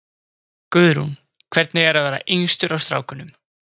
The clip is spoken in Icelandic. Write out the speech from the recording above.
Guðrún: Hvernig er að vera yngstur af strákunum?